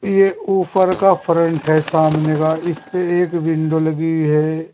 ये ऊपर का फ्रंट है सामने का इसपे एक विंडो लगी है।